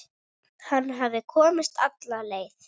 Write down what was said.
Hann hafði komist alla leið!